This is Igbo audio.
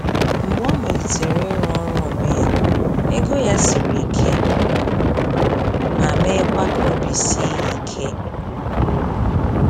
Mgbe ọ malitere ịrụ ọrụ onwe ya, ego ya siri ike ma meekwa ka obi sie ya ike nke ukwuu.